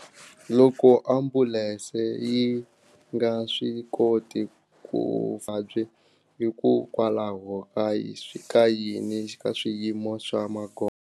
Loko ambulense yi nga swi koti ku vabyi hikokwalaho ka ka yini ka swiyimo swa magondzo.